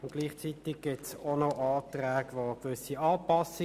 Anschliessend kommen wir zu den Fraktionen.